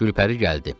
Gülpəri gəldi.